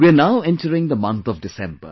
we are now entering the month of December